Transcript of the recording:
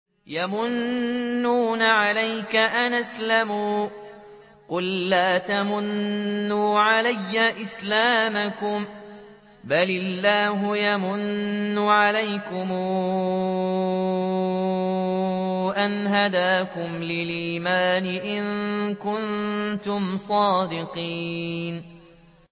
يَمُنُّونَ عَلَيْكَ أَنْ أَسْلَمُوا ۖ قُل لَّا تَمُنُّوا عَلَيَّ إِسْلَامَكُم ۖ بَلِ اللَّهُ يَمُنُّ عَلَيْكُمْ أَنْ هَدَاكُمْ لِلْإِيمَانِ إِن كُنتُمْ صَادِقِينَ